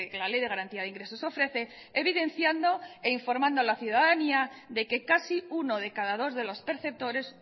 la ley de garantía de ingresos ofrece evidenciando e informando a la ciudadanía de que casi uno de cada dos de los perceptores